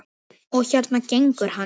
Og hérna gengur hann.